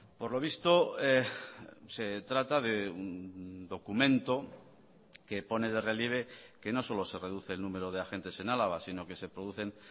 por lo visto se trata de un documento que pone de relieve que no solo se reduce el número de agentes en álava sino que se producen